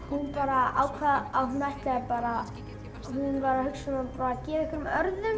hún bara ákvað að hún ætlaði bara hún var að hugsa um að gefa einhverjum